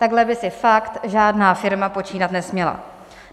Takhle by si fakt žádná firma počínat nesměla.